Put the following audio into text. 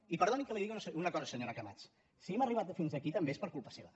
i perdoni que li digui una cosa senyora camats si hem arribat fins aquí també és per culpa seva